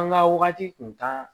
An ka wagati kun taa